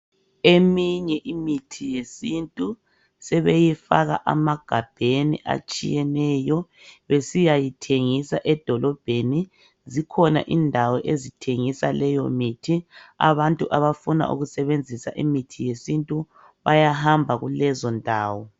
Eminye imithi yesintu sebeyifaka emagabheni atshiyeneyo besiyayithengisa edolobheni. Zikhona indawo ezithengisa leyo mithi abantu abafuna ukusebenzisa imithi yesintu bayahamba kulezondawo